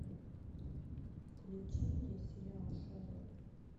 включи мне сериал шерлок